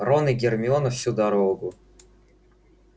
рон и гермиона всю дорогу